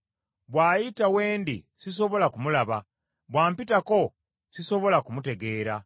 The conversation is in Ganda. Bw’ayita we ndi sisobola kumulaba, bw’ampitako, sisobola kumutegeera.